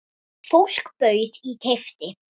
Fólk bauð í og keypti.